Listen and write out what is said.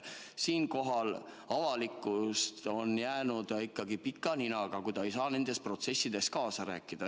Siinkohal on avalikkus jäänud ikkagi pika ninaga, kui ta ei saa nendes protsessides kaasa rääkida.